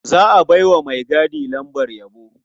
Za a bai wa maigadi lambar yabo.